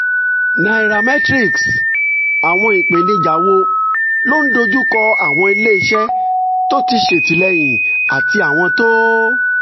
nairametrics: àwọn ìpèníjà wo ló ń dojú kọ àwọn iléeṣẹ́ tó ń ṣètìlẹ́yìn àti àwọn tó